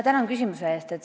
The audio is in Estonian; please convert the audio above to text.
Tänan küsimuse eest!